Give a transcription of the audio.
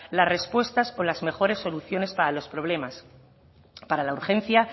las respuestas o las mejores soluciones para los problemas para la urgencia